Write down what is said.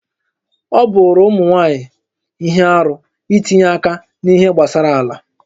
Ọ bụụrụ ụmụ nwaanyị ihe arụ itinye aka n'ihe gbasara ala